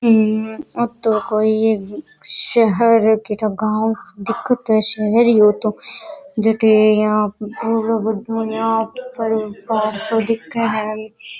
हम्म ओ तो कोई शहर कई ठा गाँव सो दिखत तो शहर ही है जटे यहा पहाड़ सो दिखे है।